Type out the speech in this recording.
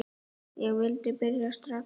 Ég vildi byrja strax.